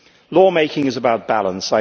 Law making is about balance.